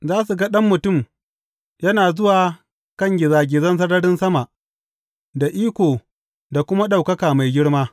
Za su ga Ɗan Mutum yana zuwa kan gizagizan sararin sama, da iko da kuma ɗaukaka mai girma.